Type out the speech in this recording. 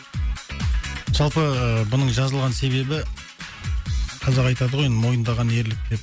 жалпы бұның жазылған себебі қазақ айтады ғой мойындаған ерлік деп